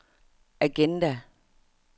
agenda